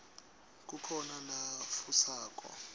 kukhona nalatfusako